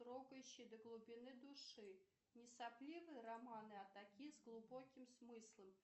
трогающий до глубины души не сопливые романы а такие с глубоким смыслом